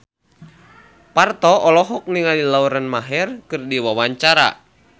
Parto olohok ningali Lauren Maher keur diwawancara